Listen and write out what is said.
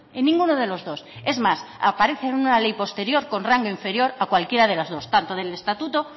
en ninguno de los dos es más aparece en una ley posterior con rango inferior a cualquiera de las dos tanto del estatuto